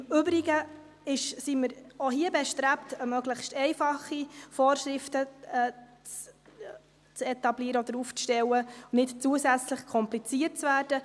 Im Übrigen sind wir auch hier bestrebt, möglichst einfache Vorschriften zu etablieren oder aufzustellen, nicht zusätzlich kompliziert zu werden.